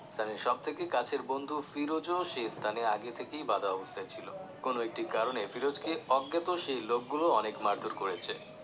সানির সবথেকে কাছের বন্ধু ফিরোজ ও সে স্থানে আগে থেকেই বাঁধা অবস্থায় ছিলো কোন একটি কারণে ফিরোজকে অজ্ঞাত সেই লোক গুলো অনেক মারধোর করেছে